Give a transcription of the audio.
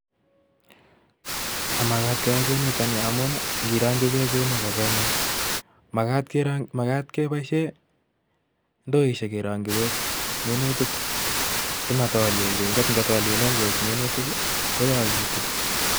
Mamakat keyai kounitok nii, ngamun ingerokyii beek kounitok nii ko kakingeem, makat keboishien indoisiek kerongyii beek minutiik simatolileen beek, ngamu ingotolileen beek minutiik I koyaakitun.